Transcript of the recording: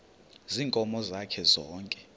ziinkomo zakhe zonke